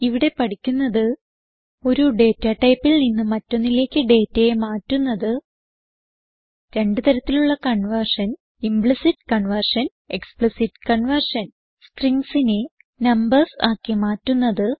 ഇവിടെ പഠിക്കുന്നത് ഒരു ഡേറ്റ ടൈപ്പിൽ നിന്ന് മറ്റൊന്നിലേക്ക് ഡേറ്റയെ മാറ്റുന്നത് രണ്ട് തരത്തിലുള്ള conversion implicit conversion explicit conversion stringsനെ നംബർസ് ആക്കി മാറ്റുന്നത്